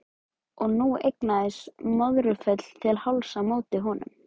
Og hún eignaðist Möðrufell til hálfs á móti honum.